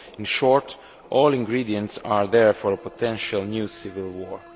In short all ingredients are there for a potential new civil war.